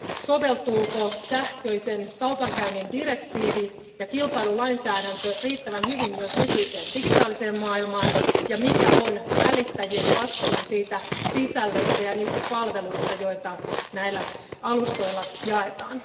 soveltuuko sähköisen kaupankäynnin direktiivi ja kilpailulainsäädäntö riittävän hyvin myös nykyiseen digitaaliseen maailmaan ja mikä on välittäjien vastuu sisällöstä ja palveluista, joita näillä alustoilla jaetaan.